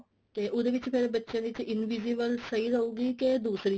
ਤੇ ਉਹਦੇ ਵਿੱਚ ਬੱਚਿਆ ਦੇ ਵਿੱਚ invisible ਸਹੀ ਰਹੂਗੀ ਕੇ ਦੂਸਰੀ